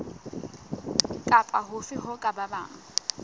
kapa hofe ho ka bang